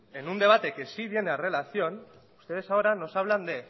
en un debate que sí viene a relación ustedes ahora nos hablan de